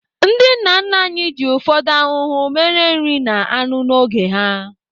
Ndị nna nna anyị ji ufodu ahuhu mere nri na anụ n'oge ha.